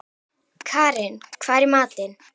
Karin, hvað er í matinn?